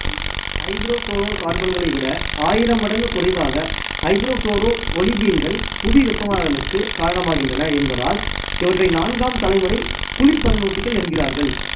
ஐதரோபுளோரோகார்பன்களை விட ஆயிரம் மடங்கு குறைவாக ஐதரோபுளோரோவொலிபீன்கள் புவிவெப்பமாதலுக்கு காரணமாகின்றன என்பதால் இவற்றை நான்காம் தலைமுறை குளிர்பதனூட்டிகள் என்கிறார்கள்